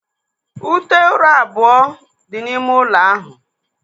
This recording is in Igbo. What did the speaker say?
Ute ụra abụọ dị n'ime ụlọ ahụ.